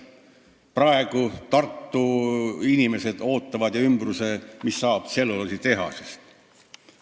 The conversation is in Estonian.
Praegu ootavad inimesed Tartus ja seal ümbruses, mis saab tselluloositehasest.